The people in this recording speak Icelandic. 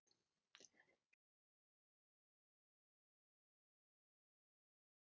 Sérðu Hemma Hreiðars ná að láta Fylki taka næsta skref?